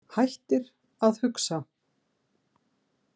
Hættir að hugsa.